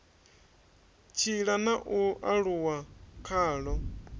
tshila na u aluwa khalo